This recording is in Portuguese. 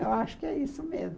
Eu acho que é isso mesmo.